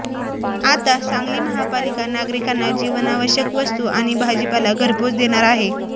आता सांगली महापालिका नागरिकांना जीवनावश्यक वस्तू आणि भाजीपाला घरपोच देणार आहे